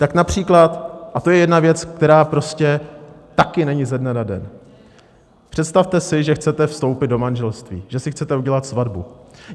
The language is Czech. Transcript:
Ta například - a to je jedna věc, která prostě taky není ze dne na den - představte si, že chcete vstoupit do manželství, že si chcete udělat svatbu.